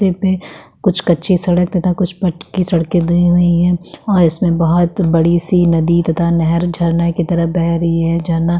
रास्ते पे कुछ कच्ची सड़क तथा कुछ पक्की सड़के दी हुई हैं और इसमें बहोत बड़ी सी नदी तथा नहर झरना की तरफ बह रही है। झरना.--